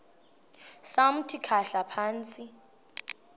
samthi khahla phantsi